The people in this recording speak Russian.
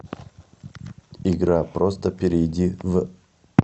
игра просто перейди в